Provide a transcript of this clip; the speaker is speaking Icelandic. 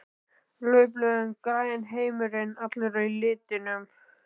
Laufblöðin græn, heimurinn allur í litum.